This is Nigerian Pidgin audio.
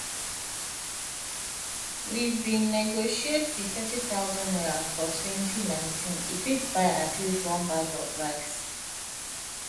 wen we bin negotiate di n30000 for 2019 e fit buy at least one and half bags of rice